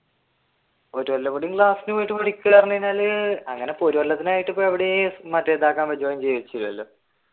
ഒരു കൊല്ലം കൂടി ക്ലാസ്സിൽ പോയിട്ട് അങ്ങനെ ഇപ്പൊ ഒരു കൊല്ലത്തിനായിട്ട് ഇപ്പൊ എവിടെയും മറ്റേ